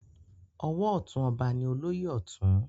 Ọwọ ọtún ọba ni olóyè Ọ̀tún.